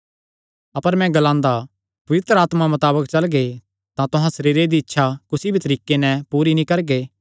अपर मैं ग्लांदा पवित्र आत्मा मताबक चलगे तां तुहां सरीरे दी इच्छा कुसी भी तरीके नैं पूरी नीं करगे